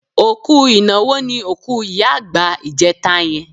Òkú ìnáwó ni òkú ìyá àgbà ìjẹta yẹn.